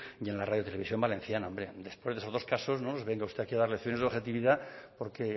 y en la radio televisión valenciana hombre después de esos dos casos no nos venga usted a dar lecciones de objetividad porque